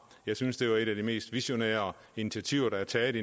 jeg synes det var et af de mest visionære initiativer der er taget